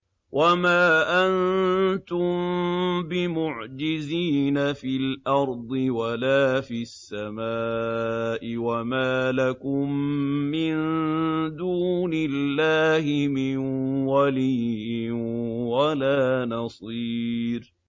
وَمَا أَنتُم بِمُعْجِزِينَ فِي الْأَرْضِ وَلَا فِي السَّمَاءِ ۖ وَمَا لَكُم مِّن دُونِ اللَّهِ مِن وَلِيٍّ وَلَا نَصِيرٍ